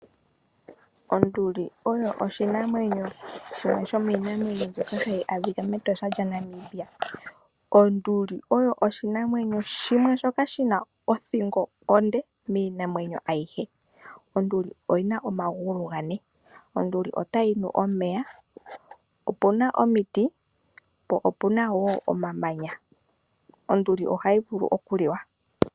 Onduli oyo oshinanwenyo shono shomiinamwenyo mbyoka hayi adhika mEtosha lyaNamibia. Onduli oyo oshinamwenyo shimwe shoka shina othingo onde miinamwenyo ayihe. Onduli oyina omagulu gane. Onduli otayi nu omeya opuna omiti po opuna wo omamanya. Onduli ohayi vulu okuliwa.